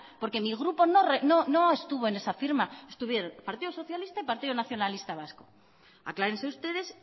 porque mi grupo no estuvo en esa firma estuvieron partido socialista y partido nacionalista vasco aclárense ustedes